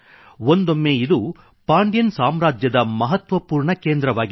ಒಂದೊಮ್ಮೆ ಇದು ಪಾಂಡ್ಯನ್ ಸಾಮ್ರಾಜ್ಯದ ಮಹತ್ವಪೂರ್ಣ ಕೇಂದ್ರವಾಗಿತ್ತು